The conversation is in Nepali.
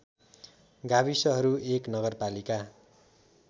गाविसहरू १ नगरपालिका